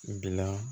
Bila